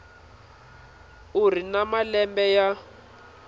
u ri na malembe ya